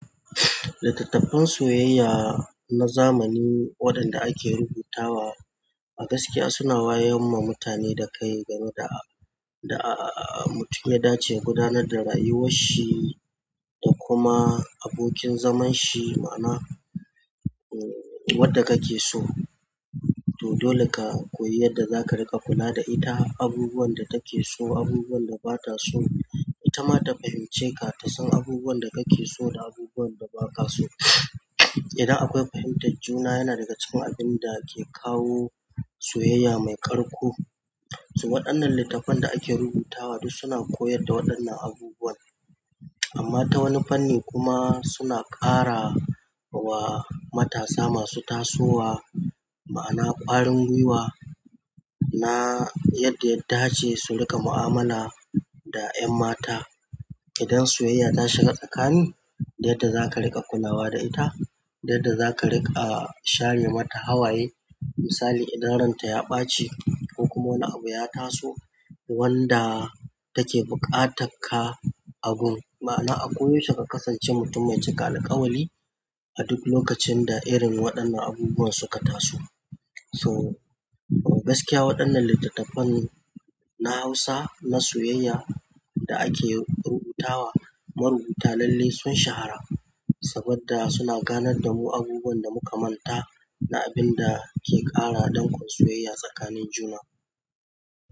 Littattafan soyayya na zamani waɗanda ake rubutawa a gaskiya suna wayar ma mutane da kai game da, da ah mutum ya dace gudanar da rayuwarshi da kuma abokin zaman shi. Ma'ana, eh, wadda kake so to dole ka koyi yadda za ka riƙa kula da ita, abubuwan da take so, abubuwan da bata so. Ita ma ta fahimce ka ta san abubuwan da kake so da abubuwan da baka so. Idan akwai fahimta, juna yana daga cikin abin da ke kawo soyayya mai ƙarko. So waɗannan littafan da ake rubutawa duk suna koyar da waɗannan abubuwan. Amma ta wani fanni kuma suna ƙara wa matasa masu tasowa, ma'ana ƙwarin gwiwa na yadda ya dace su riƙa mu'amala da 'yan mata idan soyayya tashiga tsakanin da yadda zaka riƙa kulawa da ita da yadda zaka riƙa share mata hawaye misali idan ranta ya ɓaci ko kuma wani abu ya taso wanda take buƙatan ka agun. Ma'ana, a koyaushe ka kasance mutum mai cika alƙawari a duk lokacin da irin waɗannan abubuwan suka taso. So a gaskiya waɗannan littattafanni na Hausa na soyayya da ake rubutawa marubuta lalle sun shahara sabodda suna ganar da mu abubuwan da muka manta na abin da ke ƙara danƙon soyayya tsakanin juna.